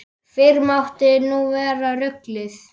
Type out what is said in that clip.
Fyrr mátti nú vera ruglið!